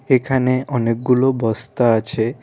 এখানে অনেকগুলো বস্তা আছে।